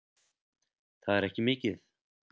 Það er ekki mikið